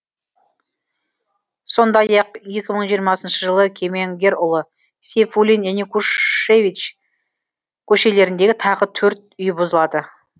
сондай ақ екі мың жиырмасыншы жылы кемеңгерұлы сейфуллин янекушевич көшелеріндегі тағы төрт үй бұзылады